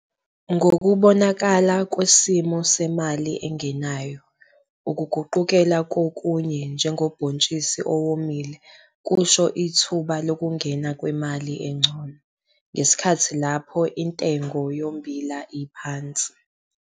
Ngokubonakala kwesimo semali engenayo ukuguqukela kokunye njengobhontshisi owomile kusho ithuba lokungena kwemali engcono ngesikhathi lapho intengo yommbila iphansi.